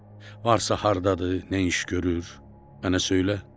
Varsa hardadır, nə iş görür, mənə söylə.